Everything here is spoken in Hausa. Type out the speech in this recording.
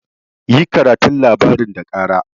Yi karatun labarin da kara!